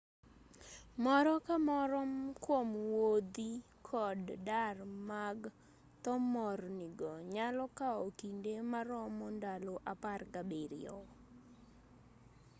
moro ka moro kwom wuodhi kod dar mag thomorni go nyalo kao kinde maromo ndalo 17